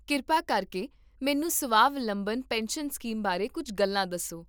ਕਿਰਪਾ ਕਰਕੇ ਮੈਨੂੰ ਸਵਾਵਲੰਬਨ ਪੈਨਸ਼ਨ ਸਕੀਮ ਬਾਰੇ ਕੁੱਝ ਗੱਲਾਂ ਦੱਸੋ